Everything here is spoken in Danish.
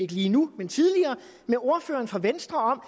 lige nu men tidligere med ordføreren for venstre om